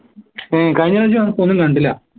ഏർ കഴിഞ്ഞപ്രാശ്യം വന്നപ്പോ ഒന്നു കണ്ടില്ല